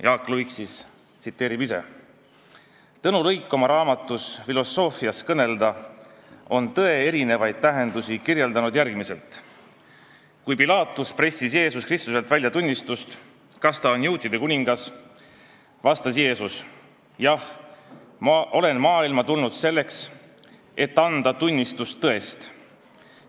Jaak Luik tsiteerib siin ka ise: "Tõnu Luik oma raamatus "Filosoofiast kõnelda" on tõe erinevaid tähendusi kirjeldanud järgmiselt: "Kui Pilaatus pressis Jeesus Kristuselt välja tunnistust, kas ta on juutide kuningas, vastas Jeesus: "Jah, ma olen maailma tulnud selleks, et anda tunnistust tõest.